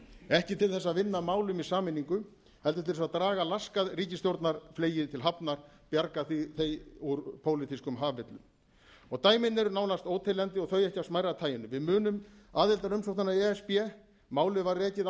ekki til þess að vinna að málum í sameiningu heldur til þess að draga laskað ríkisstjórnarfleyið til hafna bjarga því úr pólitískum hafvillum dæmin eru nánast óteljandi og þau ekki af smærra taginu við munum aðildarumsóknina í e s b málið var rekið